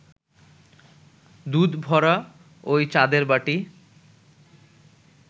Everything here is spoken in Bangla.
দুধভরা ঐ চাঁদের বাটি